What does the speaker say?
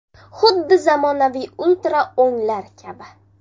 Xuddi zamonaviy ultra o‘nglar kabi.